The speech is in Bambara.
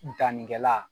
Dannikɛla